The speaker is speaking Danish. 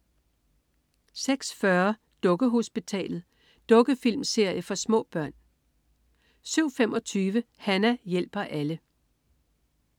06.40 Dukkehospitalet. Dukkefilmserie for små børn 07.25 Hana hjælper alle